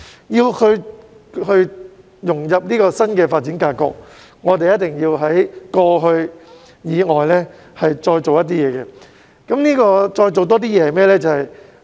要融入新的發展格局，香港一定要在過去所做的事以外，再做一些事情。